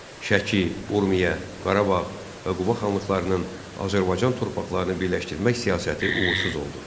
Şəki, Urmiya, Qarabağ və Quba xanlıqlarının Azərbaycan torpaqlarını birləşdirmək siyasəti uğursuz oldu.